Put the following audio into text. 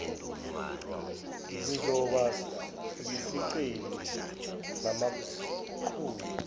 ngizoba yisicebi ngamaqhuzu